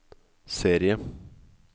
serie